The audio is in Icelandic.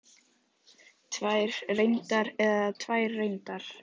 Tvær reyndar eða tvær reyndar?